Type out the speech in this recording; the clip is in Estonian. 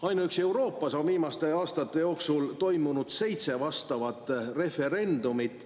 Ainuüksi Euroopas on viimaste aastate jooksul toimunud seitse vastavat referendumit.